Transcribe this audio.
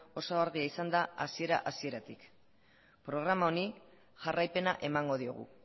oso argia izan da hasiera hasieratik programa honi jarraipena emango diogu